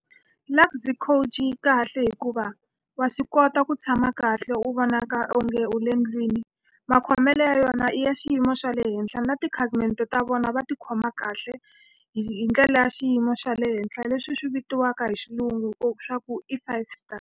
Luxy Coach yi kahle hikuva wa swi kota ku tshama kahle u vonaka onge u le ndlwini. Makhomelo ya yona ya xiyimo xa le henhla na tikhasimende ta vona va tikhoma kahle, hi hi ndlela ya xiyimo xa le henhla leswi swi vitiwaka hi xilungu leswaku i five stars.